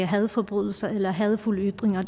hadforbrydelser eller hadefulde ytringer